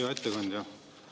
Hea ettekandja!